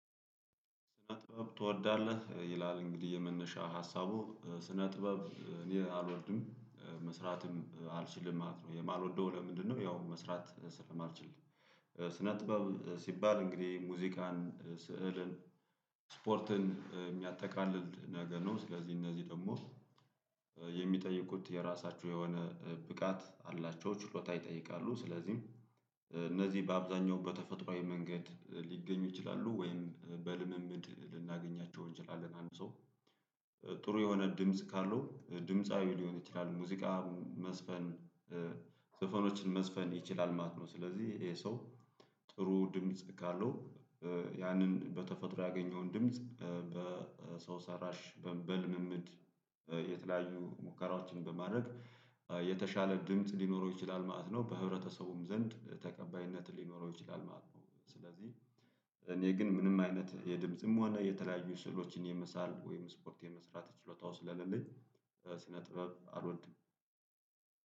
ስነ ጥበብ ትወዳለህ እ ይላል እንግዲህ የመነሻ ሀሳቡ እ ስነ ጥበብ እኔ አልወድም መስራትም አልችልም ማለት ነው የማልወደው። ለምንድነው? ያው መስራት ስለማልችል። እ ስነ ጥበብ ሲባል እንግዲህ ሙዚቃን እ ስዕልን ስፖርትን እ የሚያጠቃልል ነገር ነው። ስለዚህ እነዚህ ደግሞ እ የሚጠይቁት የራሳችሁ የሆነ እ ብቃት አላቸው ችሎታ ይጠይቃሉ። ስለዚህም እ እነዚህ በአብዛኛው በተፈጥሮአዊ መንገድ ሊገኙ ይችላሉ ወይም በልምምድ ልናገኛቸው እንችላለን። አንድ ሰው እ ጥሩ የሆነ ድምጽ ካለው እ ድምጻዊ ሊሆን ይችላል። ሙዚቃ መዝፈን እ ዘፈኖችን መዝፈን ይችላል ማለት ነው። ስለዚህ ይሄ ሰው ጥሩ ድምጽ ካለው። እ ያንን በተፈጥሮ ያገኘውን ድምጽ እ በሰው ሰራሽ በልምምድ እ የተለያዩ ሙከራዎችን በማድረግ እ የተሻለ ድምጽ ሊኖረው ይችላል ማለት ነው። በህብረተሰቡም ዘንድ ተቀባይነት ሊኖረው ይችላል ማለት ነው። ስለዚህ እኔ ግን ምንም አይነት የድምጽም ሆነ የተለያዩ ስዕሎችን የመሳል ወይም ስፖርት የመስራት ችሎታው ስለሌለኝ እ ስነ ጥበብ አልወድም።